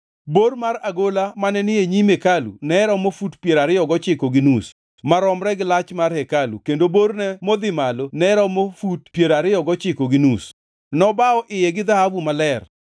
Bor mar agola mane ni e nyim hekalu ne romo fut piero ariyo gochiko gi nus maromre gi lach mar hekalu kendo borne modhi malo ne romo fut piero ariyo gochiko gi nus. Nobawo iye gi dhahabu maler.